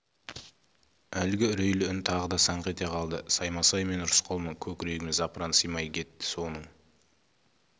әлгі үрейлі үн тағы да саңқ ете қалды саймасай мен рысқұлмын көкірегіме запыран сыймай кетті соның